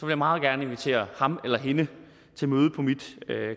jeg meget gerne invitere ham eller hende til møde på mit